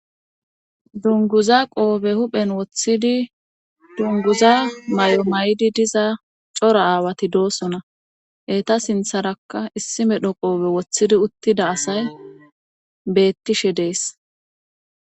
dunguza qoobe huphen woththidi dunguza may7o may7di diza cora aawati doosona heta sintharakka issi medho qoobe woththidi uttida asay bettishe dees